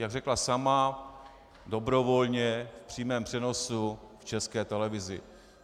Jak řekla sama dobrovolně v přímém přenosu v České televizi.